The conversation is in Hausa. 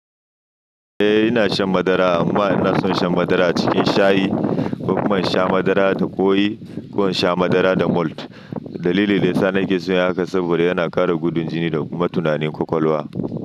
Eh ina shan madara amma ina son shan madara cikin shayi. Kuma in sha madara ta koyi kuma in sha madara da malt. Dalili ne sanan ke so yayi haka saboda yana ƙara gudun jini da kuma tunanin kwakwalwa.